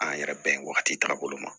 An yɛrɛ bɛn wagati tagabolo ma